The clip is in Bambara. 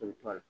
I bɛ to a la